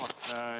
Hea juhataja!